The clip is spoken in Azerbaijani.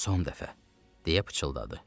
Son dəfə, deyə pıçıldadı.